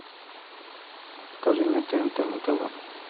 покажи мне тнт на тв